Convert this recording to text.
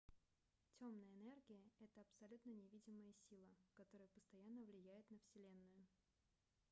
темная энергия это абсолютно невидимая сила которая постоянно влияет на вселенную